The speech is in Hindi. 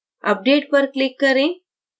update पर click करें